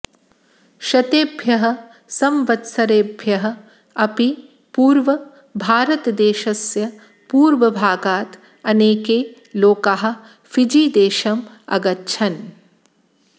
शतेभ्यः संवत्सरेभ्यः अपि पूर्वं भारतदेशस्य पूर्वभागात् अनेके लोकाः फिजीदेशम् अगच्छन्